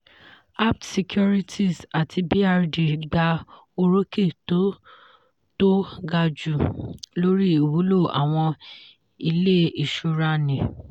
apt securities àti brd gba orókè tó tó gaju lórí ìwúlò àwọn ilé ìṣúrani.